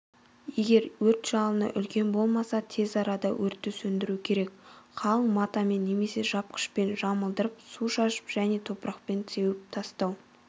егер өрт жалыны үлкен болмаса тез арада өртті сөндіру керек қалың матамен немесе жапқышпен жамылдырып су шашып және топырақпен сеуіп тастау